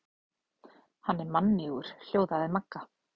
Hann er mannýgur hljóðaði Magga.